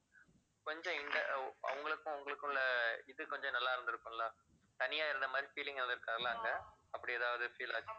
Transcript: கொஞ்சம் இந்த அவங்களுக்கும் உங்களுக்கும் உள்ள இது கொஞ்சம் நல்லா இருந்துருக்குமில்ல தனியா இருந்த மாதிரி feeling எதுவும் இருக்காதுல்ல அங்க அப்படி ஏதாவது feel ஆச்~